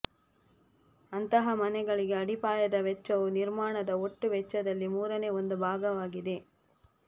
ಅಂತಹ ಮನೆಗಳಿಗೆ ಅಡಿಪಾಯದ ವೆಚ್ಚವು ನಿರ್ಮಾಣದ ಒಟ್ಟು ವೆಚ್ಚದಲ್ಲಿ ಮೂರನೇ ಒಂದು ಭಾಗವಾಗಿದೆ